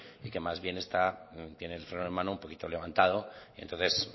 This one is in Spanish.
y que más bien tiene el freno de mano un poquito levantado entonces